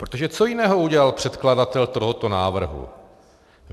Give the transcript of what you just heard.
Protože co jiného udělal předkladatel tohoto návrhu?